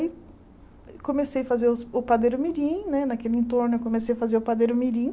Aí comecei a fazer os o padeiro mirim né, naquele entorno eu comecei a fazer o padeiro mirim.